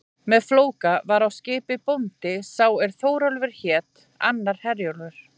Með Flóka var á skipi bóndi sá er Þórólfur hét, annar Herjólfur.